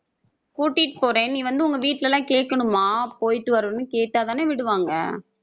கூட்டிட்டு போறேன் நீ வந்து உங்க வீட்ல எல்லாம் கேட்கணுமா போயிட்டு வரணும்னு கேட்டா தான விடுவாங்க.